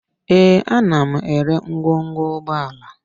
Ee, ana m ere ngwongwo ụgbọala